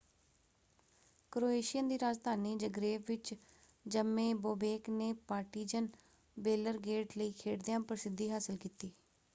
Croatian ਦੀ ਰਾਜਧਾਨੀ Zagreb ਵਿੱਚ ਜੰਮੇ ਬੋਬੇਕ ਨੇ ਪਾਰਟੀਜਨ ਬੇਲਰਗੇਡ ਲਈ ਖੇਡਦਿਆਂ ਪ੍ਰਸਿੱਧੀ ਹਾਸਲ ਕੀਤੀ।